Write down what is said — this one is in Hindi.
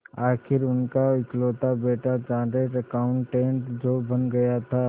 आखिर उनका इकलौता बेटा चार्टेड अकाउंटेंट जो बन गया था